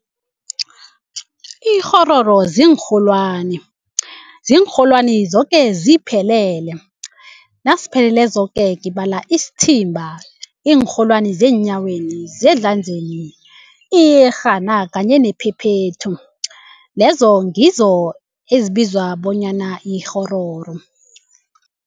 Ikghororo ziinrholwani ziinrholwani zoke ziphelele. Nasipheleleko zoke ngibala isithimba iinrholwani zeenyaweni, zezandleni, iyerhana kanye nephephethu lezo ngizo ezibizwa bonyana yikghororo.